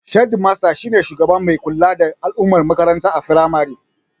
Shedimasta shine shugaba mai kula da al'amuran makaranta a firamare